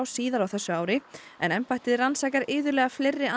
síðar á þessu ári en embættið rannsakar iðulega fleiri